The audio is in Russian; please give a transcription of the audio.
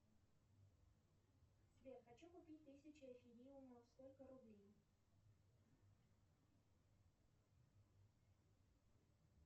салют какие котой ты знаешь